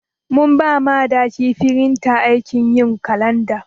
Mun ɓa Madaki firinta aikin yin kalanɗa.